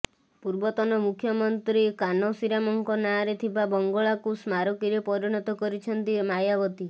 ପୂର୍ବତନ ମୁଖ୍ୟମନ୍ତ୍ରୀ କାନସୀରାମଙ୍କ ନାଁରେ ଥିବା ବଙ୍ଗଳାକୁ ସ୍ମାରକୀରେ ପରିଣତ କରିଛନ୍ତି ମାୟାବତୀ